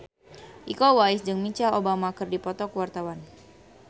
Iko Uwais jeung Michelle Obama keur dipoto ku wartawan